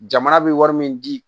Jamana bɛ wari min di